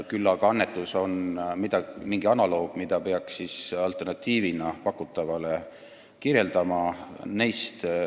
Küll aga on annetus analoog, mida peaks pakutava alternatiivina kirjeldama.